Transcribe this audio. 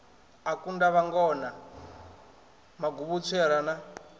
a kunda vhangona maguvhutswera na